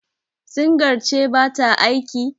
singar ce ba ta aiki?